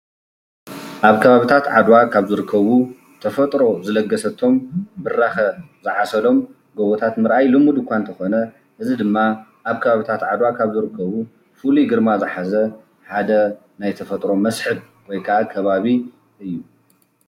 ኣብ ከባቢታት ዓድዋ ካብ ዝርከቡ ተፈጥሮ ብዝለገሰቶም ብራኸ ዝዓሰሎም ገቦታት ምርኣይ ሉምድ እኳ እንተኾነ እዙይ ድማ ኣብ ከባቢታት ዓድዋ ዝርከቡ ፉሉይ ግርማ ዝሓዘን ሓደ ናይ ተፈጥሮ መስሕብ ወይ ድማ ከባቢ እዩ፡፡